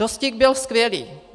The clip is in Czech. Rostík byl skvělý.